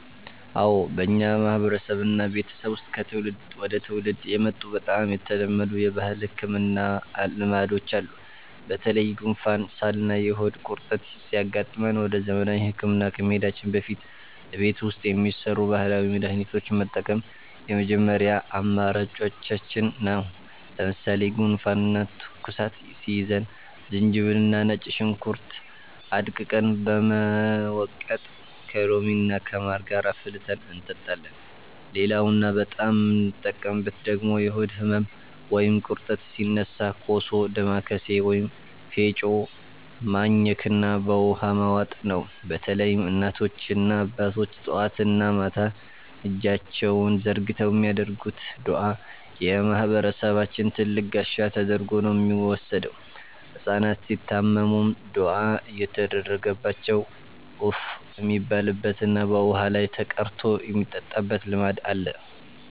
አዎ፣ በእኛ ማህበረሰብና ቤተሰብ ውስጥ ከትውልድ ወደ ትውልድ የመጡ በጣም የተለመዱ የባህል ህክምና ልማዶች አሉ። በተለይ ጉንፋን፣ ሳልና የሆድ ቁርጠት ሲያጋጥመን ወደ ዘመናዊ ህክምና ከመሄዳችን በፊት እቤት ውስጥ የሚሰሩ ባህላዊ መድሃኒቶችን መጠቀም የመጀመሪያ አማራጫችን ነው። ለምሳሌ ጉንፋንና ትኩሳት ሲይዘን ዝንጅብልና ነጭ ሽንኩርት አድቅቀን በመውቀጥ ከሎሚና ከማር ጋር አፍልተን እንጠጣለን። ሌላውና በጣም የምንጠቀምበት ደግሞ የሆድ ህመም ወይም ቁርጠት ሲነሳ ኮሶ፣ ዳማከሴ ወይም ፌጦ ማኘክና በውሃ መዋጥ ነው። በተለይም እናቶችና አባቶች ጠዋትና ማታ እጃቸውን ዘርግተው የሚያደርጉት ዱዓ የማህበረሰባችን ትልቅ ጋሻ ተደርጎ ነው የሚወሰደው። ህጻናት ሲታመሙም ዱዓ እየተደረገባቸው እፍ የሚባልበትና በውሃ ላይ ተቀርቶ የሚጠጣበት ልማድ አለ።